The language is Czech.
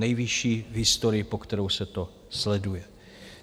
Nejvyšší v historii, po kterou se to sleduje.